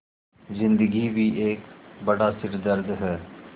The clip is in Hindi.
ज़िन्दगी भी एक बड़ा सिरदर्द है